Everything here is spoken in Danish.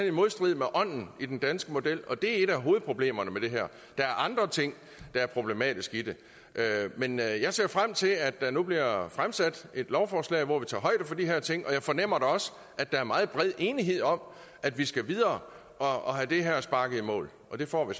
i modstrid med ånden i den danske model og det er et af hovedproblemerne i det her der er andre ting der er problematiske i det men jeg jeg ser frem til at der nu bliver fremsat et lovforslag hvor vi tager højde for de her ting og jeg fornemmer da også at der er meget bred enighed om at vi skal videre og have det her sparket i mål og det får vi